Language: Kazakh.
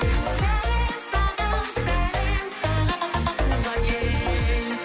сәлем саған сәлем саған туған ел